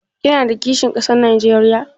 Kina da kishin kasa Najeriya?